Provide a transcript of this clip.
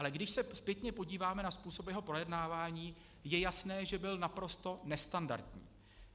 Ale když se zpětně podíváme na způsob jeho projednávání, je jasné, že byl naprosto nestandardní.